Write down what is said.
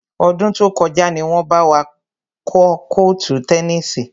Ọdún tó kọjá ni wọn bá wa kọ́ kọ́ọ́tù tẹnísì.